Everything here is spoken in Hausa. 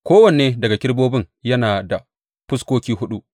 Kowane daga kerubobin yana da fuskoki huɗu.